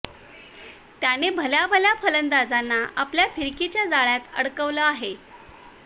त्याने भल्या भल्या फलंदाजांना आपल्या फिरकीच्या जाळ्यात अडकवलं आहे